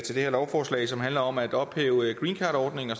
det her lovforslag som handler om at ophæve greencardordningen og